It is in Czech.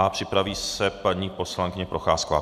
A připraví se paní poslankyně Procházková.